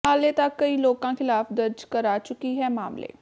ਹਾਲੇ ਤਕ ਕਈ ਲੋਕਾਂ ਖ਼ਿਲਾਫ਼ ਦਰਜ ਕਰਾ ਚੁੱਕੀ ਹੈ ਮਾਮਲੇ